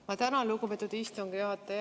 Ma tänan, lugupeetud istungi juhataja!